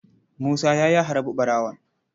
Musa ya yi harbi ɓarawon.